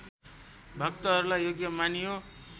भक्तहरूलाई योग्य मानियो